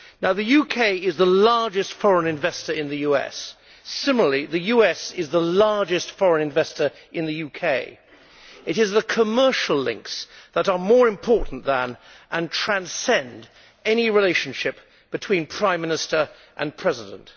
The UK is the largest foreign investor in the US. Similarly, the US is the largest foreign investor in the UK. It is the commercial links that are more important than and transcend any relationship between Prime Minister and President.